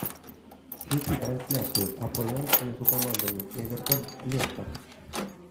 включи трансляцию апл между командами эвертон лестер